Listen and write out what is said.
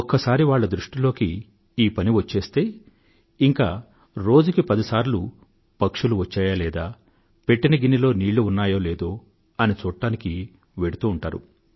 ఒక్కసారి వాళ్ళ దృష్టిలోకి ఈ పని వచ్చేస్తే ఇంక రోజుకి పదిసార్లు పక్షులు వచ్చాయా లేదా పెట్టిన గిన్నెలో నీళ్ళు ఉన్నాయో లేదో అని చూడ్డానికి వెళ్తూ ఉంటారు